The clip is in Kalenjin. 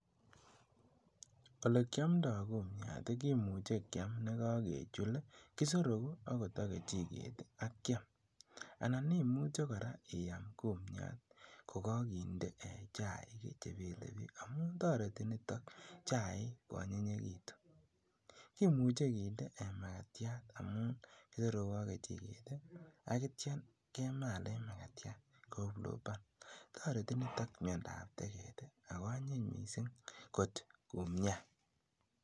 Olekiomndo kumiat kimuche kiam nekokechul, kisorokuu okot ak kechiket akiaam, anan imuche kora iyaam kumiat ko kokinde chaik chebelebiik amuun toreti niton chaik ko anyinyekitun, kimuche kinde makatiat amuun kisorokuu ak kechiket akityo kemalen kouu pluban, toreti niton miondab tekeet ak ko anyiny mising kot kumiat.